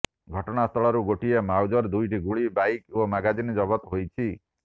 ଘଟଣାସ୍ଥଳରୁ ଗୋଟିଏ ମାଉଜର ଦୁଇଟି ଗୁଳି ବାଇକ ଓ ମାଗାଜିନ ଜବତ ହୋଇଛି